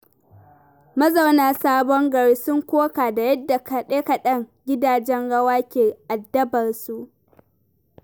Mazauna Sabon Gari sun koka da yadda kaɗe-kaɗen gidajen rawa ke addabar su.